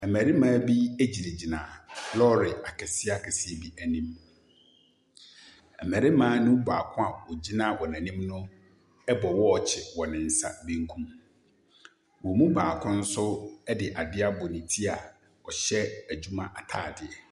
Mmarima bi gyinagyina lɔɔre akɛseɛ akɛseɛ bi anim. Mmarima ne mu baako a ogyina wɔn ani no bɔ wɔɔkye wɔ ne nsa bankum. Wɔn mu baako nso de adeɛ abɔ ne ti a ɔhyɛ adwuma ataade.